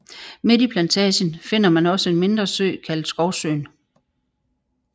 Midt i Plantagen finder man også en mindre sø kaldet Skovsøen